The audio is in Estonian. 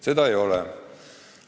Seda plaani ei ole.